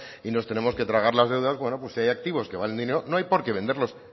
y nos tenemos que tragar las deudas bueno pues si hay activos que valen dinero no hay por qué venderlos